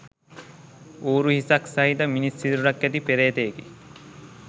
ඌරු හිසක් සහිත, මිනිස් සිරුරක් ඇති පේ්‍රතයෙකි.